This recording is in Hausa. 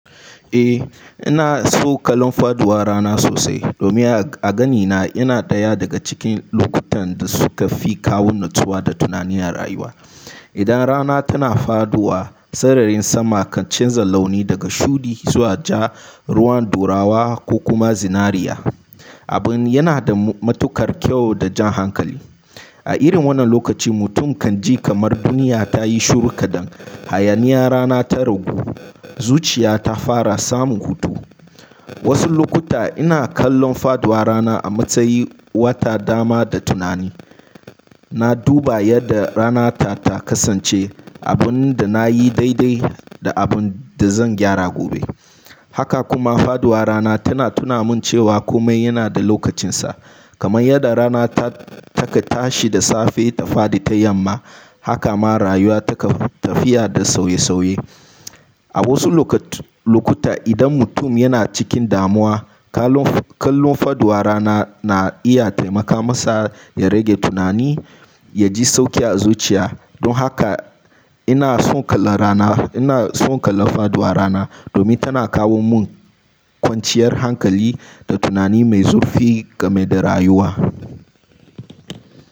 Eh, ina so kallon faduwar rana sosai domin a ganina yana ɗaya daga cikin lokutan da suka fi kawo natsuwa da tunani a rayuwa. Idan rana tana faduwa, sararin sama kan canza launi daga shuɗi zuwa ja, ruwan ɗurawa ko kuma zinariya. Abin yana da matuƙar kyau da jan hankali. A irin wannan lokaci mutum kan ji kamar duniya ta yi shuru kaɗan, hayaniyar rana ta ragu, zuciya ta fara samun hutu. Wasu lokuta ina kallon faduwar rana a matsayin wata dama da tunani. Na duba yadda rana ta, ta kasance, abun da na yi daidai da abun da zan gyara gobe. Haka kuma faduwar rana tana tuna min cewa kome yana da lokacinsa. Kaman yadda rana ta-taka tashi da safe ta faɗi ta yamma, haka ma rayuwa take tafiya da sauye-sauye. A wasu loka-lokuta idan mutum yana cikin damuwa, kallon faduwar rana na iya taimaka masa ya rage tunani, ya ji sauƙi a zuciya. Don haka ina son kallon rana, ina son kallon faduwar rana domin tana kawo mun kwanciyar hankali da tunani mai zurfi game da rayuwa.